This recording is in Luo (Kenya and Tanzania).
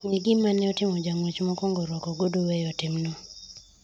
ng'e gimane otimo jang'wech mokwongo rwako ogudu weyo timno